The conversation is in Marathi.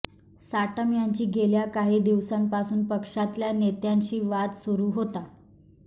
साटम यांची गेल्या काही दिवसांपासून पक्षातल्या नेत्यांशी वाद सुरू होता